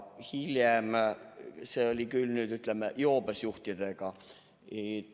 Hiljem oli seda tehtud joobes juhtidega.